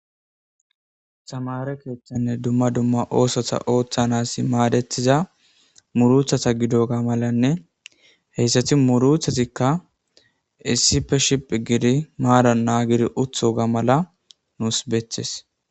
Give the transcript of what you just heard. Tamare keeththanne dumma dumma osotha oththanasi maadetiza muruthata gido ga malanne heyssati muruthatikka issife shiph gidi maaran naa gidi utho ga mala nuus beethes.